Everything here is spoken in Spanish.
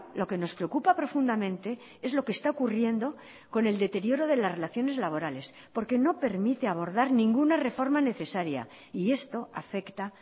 lo que nos preocupa profundamente es lo que está ocurriendo con el deterioro de las relacioneslaborales porque no permite abordar ninguna reforma necesaria y esto afecta